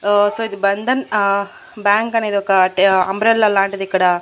ఓ so ఇది బంధన్ ఆ bank అనేది ఒక ట అంబ్రెల్లా లాంటిది ఇక్కడ.